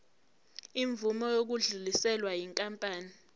imvume yokudluliselwa yinkampani